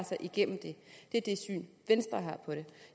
sig igennem det er det syn venstre har på det